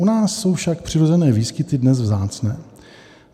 U nás jsou však přirozené výskyty dnes vzácné.